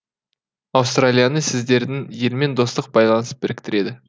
аустралияны сіздердің елмен достық байланыс біріктіреді